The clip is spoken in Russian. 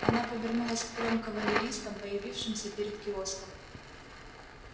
она повернулась к трём кавалеристам появившимся перед киоском